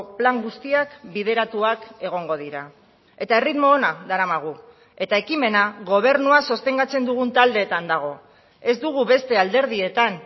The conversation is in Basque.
plan guztiak bideratuak egongo dira eta erritmo ona daramagu eta ekimena gobernua sostengatzen dugun taldeetan dago ez dugu beste alderdietan